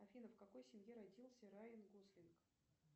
афина в какой семье родился райан гослинг